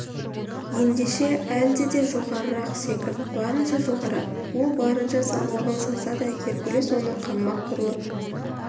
ендеше әлде де жоғарырақ секірт барынша жоғары ол барынша салмағын салса да геркулес оны қаңбақ құрлы